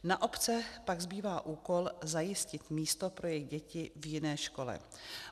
Na obce pak zbývá úkol zajistit místo pro jejich děti v jiné škole.